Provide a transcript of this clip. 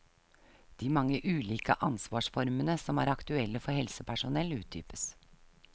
De mange ulike ansvarsformene som er aktuelle for helsepersonell utdypes.